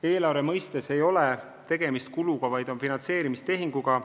Eelarve seisukohalt ei ole tegemist kuluga, vaid finantseerimistehinguga.